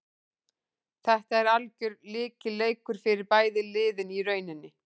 Þetta er algjör lykilleikur fyrir bæði lið í rauninni.